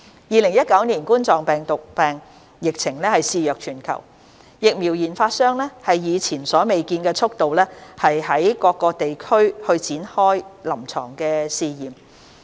2019冠狀病毒病疫情肆虐全球，疫苗研發商以前所未見的速度於多個地區開展臨床試驗。